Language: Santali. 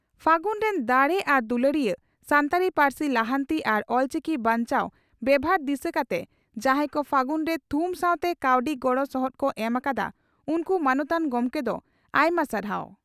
ᱯᱷᱟᱹᱜᱩᱱ ᱨᱤᱱ ᱫᱟᱲᱮ ᱟᱨ ᱫᱩᱞᱟᱹᱲᱤᱭᱟᱹ ᱥᱟᱱᱛᱟᱲᱤ ᱯᱟᱹᱨᱥᱤ ᱞᱟᱦᱟᱱᱛᱤ ᱟᱨ ᱚᱞᱪᱤᱠᱤ ᱵᱟᱧᱪᱟᱣ ᱵᱮᱵᱷᱟᱨ ᱫᱤᱥᱟᱹ ᱠᱟᱛᱮ ᱡᱟᱦᱟᱸᱭ ᱠᱚ "ᱯᱷᱟᱹᱜᱩᱱ" ᱨᱮ ᱛᱷᱩᱢ ᱥᱟᱣᱛᱮ ᱠᱟᱹᱣᱰᱤ ᱜᱚᱲᱚ ᱥᱚᱦᱚᱫ ᱠᱚ ᱮᱢ ᱟᱠᱟᱫᱼᱟ᱾ᱩᱱᱠᱩ ᱢᱟᱱᱚᱛᱟᱱ ᱜᱚᱢᱠᱮ ᱫᱚ ᱟᱭᱢᱟ ᱥᱟᱨᱦᱟᱣ